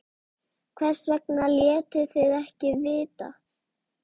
Hvers vegna létuð þið ekki vita?